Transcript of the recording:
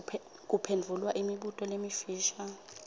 kuphendvula imibuto lemifisha